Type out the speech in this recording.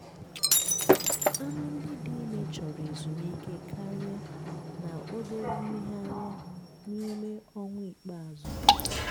anụ ndị dị ime chọrọ ezumike karịa na obere mmegharị n'ime ọnwa ikpeazụ.